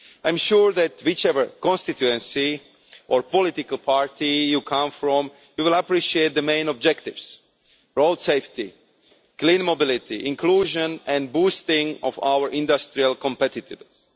I am sure that, whichever constituency or political party you come from, you will appreciate the main objectives road safety, clean mobility, inclusion and boosting of our industrial competitiveness.